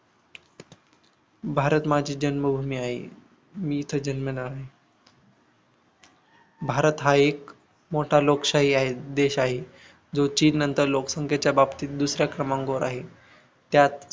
भारत माझी जन्मभूमी आहे मी इथे जन्मलो आहे भारत हा एक मोठा लोकशाही आहे देश आहे जो चीननंतर लोकसंख्येच्या बाबतीत दुसऱ्या क्रमांकावर आहे त्यात